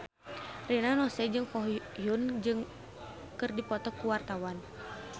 Rina Nose jeung Ko Hyun Jung keur dipoto ku wartawan